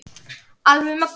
Alveg mögnuð.